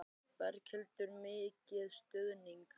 Berghildur: Mikil stuðningur?